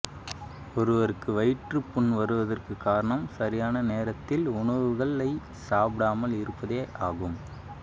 ஒருவருக்கு வயிற்றுப் புண் வருவதற்கு காரணம் சரியான நேரத்தில் உணவுகளை சாப்பிடாமல் இருப்பதே ஆகும்